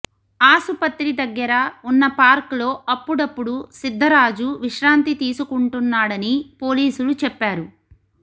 ఆసుపత్రి దగ్గర ఉన్న పార్క్ లో అప్పుడప్పుడు సిద్దరాజు విశ్రాంతి తీసుకుంటున్నాడని పోలీసులు చెప్పారు